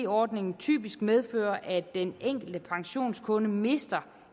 ordningen typisk medføre at den enkelte pensionskunde mister